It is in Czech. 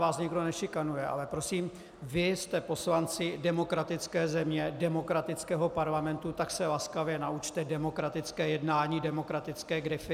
Vás nikdo nešikanuje, ale prosím, vy jste poslanci demokratické země, demokratického parlamentu, tak se laskavě naučte demokratické jednání, demokratické grify.